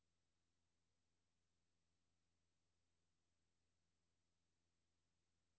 Hans første forsøg på at starte en hetz mod sig selv og sundheds ministeren er slået fejl.